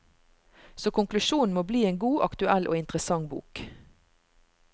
Så konklusjonen må bli en god, aktuell og interessant bok.